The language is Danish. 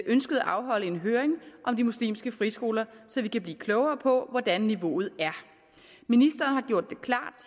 ønsket at afholde en høring om de muslimske friskoler så vi kan blive klogere på hvordan niveauet er ministeren har gjort